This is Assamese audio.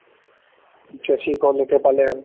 এতিয়া থিক হ'ল এতিয়া পালে আৰু